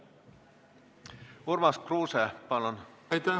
Urmas Kruuse, palun!